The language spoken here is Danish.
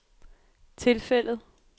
tilfældet